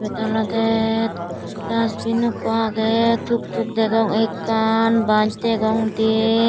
ebet olode dustbin ekko aage tuk tuk degong ekkan bus degong diyan.